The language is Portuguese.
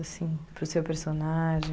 Assim, para o seu personagem?